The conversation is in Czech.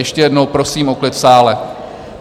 Ještě jednou prosím o klid v sále.